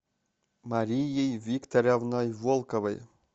марией викторовной волковой